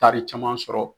Taari caman sɔrɔ